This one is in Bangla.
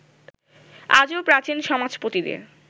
আজও প্রাচীন সমাজপতিদের